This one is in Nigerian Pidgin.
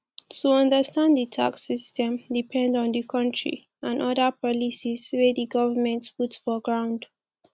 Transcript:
to understand di tax system depend on di country and oda policies wey di governement put for ground